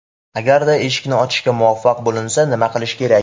Agarda eshikni ochishga muvaffaq bo‘linsa, nima qilish kerak?